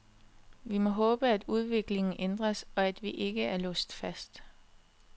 Vi må håbe, at udviklingen ændres, og at vi ikke er låst fast.